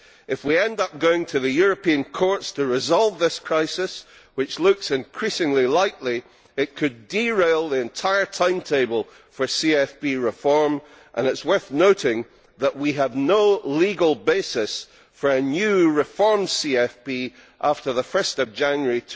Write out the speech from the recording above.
If we end up going to the European courts to resolve this crisis, which looks increasingly likely, it could derail the entire timetable for CFP reform, and it is worth noting that we have no legal basis for a new reformed CFP after 1 January